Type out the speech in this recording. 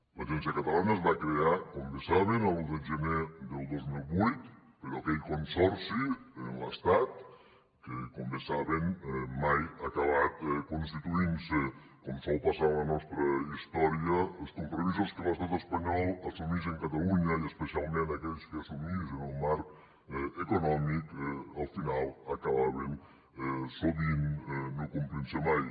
l’agència catalana es va crear com bé saben l’un de gener del dos mil vuit però aquell consorci amb l’estat com bé saben mai ha acabat constituint se com sol passar en la nostra història els compromisos que l’estat espanyol assumeix amb catalunya i especialment aquells que assumeix en el marc econòmic al final acabaven sovint no complint se mai